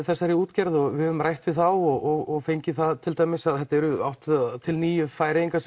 þessari útgerð og við höfum rætt við þá og fengið það til dæmis að það eru átta til níu Færeyingar